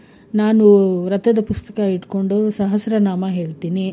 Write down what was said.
ನಾನು ವ್ರತದ ಪುಸ್ತಕ ಇಟ್ಕೊಂಡು ಸಹಸ್ರನಾಮ ಹೇಳ್ತಿನಿ.